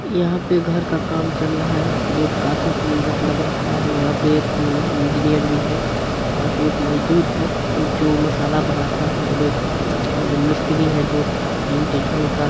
यहा पे घर का काम चल रहा है जो की काफी सुन्दर लग रहा है | यहाँ पे एक इंजीनियर भी है | यहाँ पे एक मजदूर है जो मसाला बनाता है और एक मम मिस्त्री है जो ईंटे जोड़ता है।